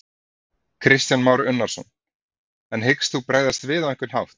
Kristján Már Unnarsson: En hyggst þú bregðast við á einhvern hátt?